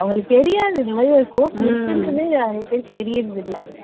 அவங்களுக்கு தெரியாது இந்த மாதிரி ஒரு course இருக்குன்றதே நிறைய பேருக்குத் தெரியறது இல்ல.